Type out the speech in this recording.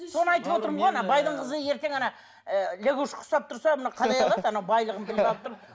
соны айтып отырмын ғой ана байдың қызы ертең ана ы лягушкаға ұқсап тұрса мына қалай алады ана байлығын біліп алып тұр